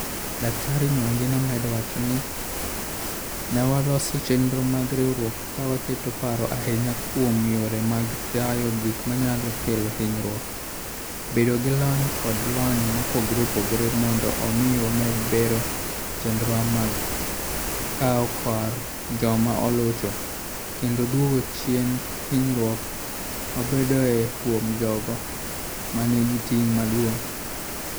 Dr Mwangi nomedo wacho ni, ne waloso chenro mag riwruokwa ka waketo paro ahinya kuom yore mag tayo gik manyalo kelo hinyruok, bedo gi lony kod lony mopogore opogore mondo omi wamed bero chenrowa mag kawo kar joma olocho, kendo duoko chien hinyruok mabedoe kuom jogo ma nigi ting' maduong'.